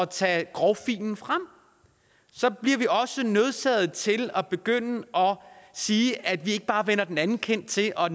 tage grovfilen frem så bliver vi også nødsaget til at sige at vi ikke bare vender den anden kind til og